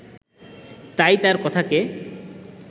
তাই তার কথাকে